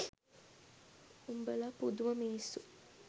උඹල පුදුම මිනිස්සු